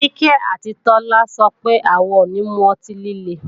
Kíkẹ́ àti Táyọ sọ pé, àwọn ò ní mu ọtí líle